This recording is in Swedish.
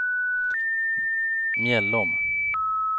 Mjällom